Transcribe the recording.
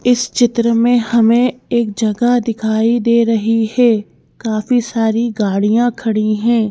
इस चित्र में हमें एक जगह दिखाई दे रही है काफी सारी गाड़ियां खड़ी हैं।